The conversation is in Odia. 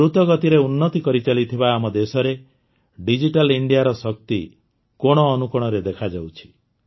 ଦୃତ ଗତିରେ ଉନ୍ନତି କରିଚାଲିଥିବା ଆମ ଦେଶରେ ଡିଜିଟାଲ ଇଣ୍ଡିଆର ଶକ୍ତି କୋଣ ଅନୁକୋଣରେ ଦେଖାଯାଉଛି